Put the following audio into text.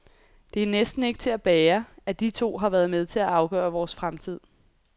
Det er næsten ikke til at bære, at de to har været med til at afgøre vores fremtid.